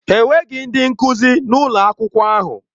Enweghị ndị nkuzi na ụlọ akwụkwọ ahụ.